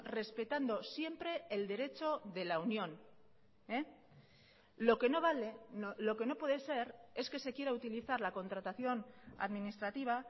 respetando siempre el derecho de la unión lo que no vale lo que no puede ser es que se quiera utilizar la contratación administrativa